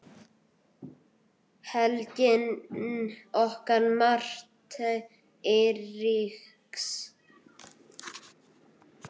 Helgi og Martha Eiríks.